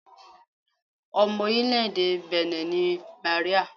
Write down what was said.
Ọmọ orílẹ̀-èdè Benin ni Màríà.